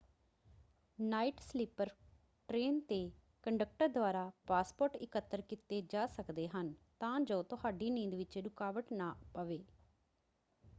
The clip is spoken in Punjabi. ਨਾਈਟ ਸਲੀਪਰ ਟ੍ਰੇਨ 'ਤੇ ਕੰਡਕਟਰ ਦੁਆਰਾ ਪਾਸਪੋਰਟ ਇਕੱਤਰ ਕੀਤੇ ਜਾ ਸਕਦੇ ਹਨ ਤਾਂ ਜੋ ਤੁਹਾਡੀ ਨੀਂਦ ਵਿੱਚ ਰੁਕਾਵਟ ਨਾ ਪਵੇ।